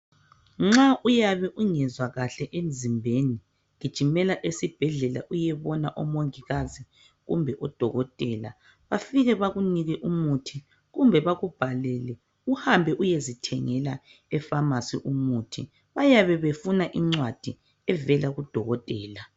Nxa uyabe ungezwa kahle emzimbeni gijimela esibhedlela uyebona omongikazi kumbe udokotela bafike bakunike umuthi kumbe bakubhalela uhambe uyezithengela efamasi umuthi bayabe befuna incwadi evela kudokotela